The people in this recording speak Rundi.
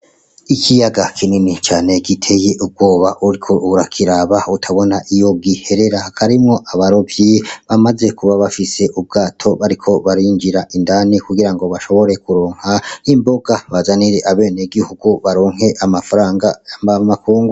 Ikiyaga kinini cane giteye ubwoba uriko urakiraba utabona iyi giherera. Harimwo abarovyi bamaze kuba bafise ubwato bariko barinjira indani kugira ngo bashobore kuronka imboga bazanire abenegihugu baronke amafaranga mvamakungu.